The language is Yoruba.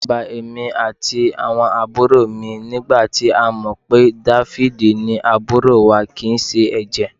Ẹ̀rù bà èmi àtàwọn àbúrò mi nígbà tá a mọ̀ pé Dáfídì ni àbúrò wa kì í ṣe ẹ̀jẹ̀